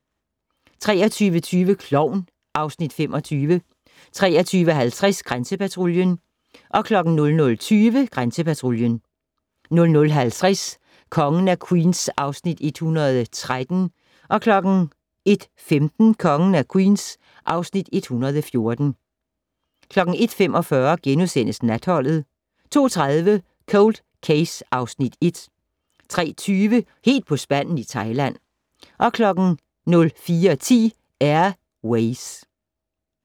23:20: Klovn (Afs. 25) 23:50: Grænsepatruljen 00:20: Grænsepatruljen 00:50: Kongen af Queens (Afs. 113) 01:15: Kongen af Queens (Afs. 114) 01:45: Natholdet * 02:30: Cold Case (Afs. 1) 03:20: Helt på spanden i Thailand 04:10: Air Ways